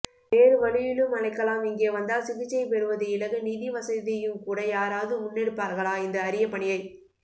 வேறுவழியிலும்அழைக்கலாம் இங்கேவந்தால் சிகிச்சை பெறுவதுஇலகு நிதிவசதியும்கூட யாரவது முன்னெடுப்பார்களாஇந்த அரிய பணியை